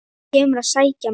Þú kemur að sækja mig.